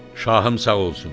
Şahım sağ olsun.